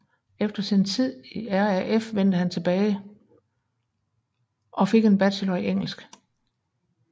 Efter sin tid i RAF vendte han tilbage go fik en bachelor i engelsk